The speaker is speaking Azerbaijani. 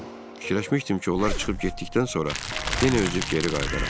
Fikirləşmişdim ki, onlar çıxıb getdikdən sonra yenə üzüb geri qayıdaram.